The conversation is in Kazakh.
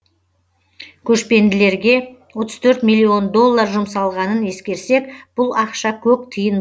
көшпенділерге отыз төрт миллион доллар жұмсалғанын ескерсек бұл ақша көк тиын